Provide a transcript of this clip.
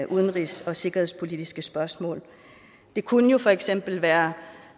udenrigs og sikkerhedspolitiske spørgsmål det kunne for eksempel være